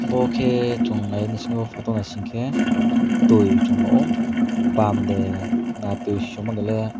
abo ke Chung nai semi o photo naising ke twi chung o ban de na twi swmunaile.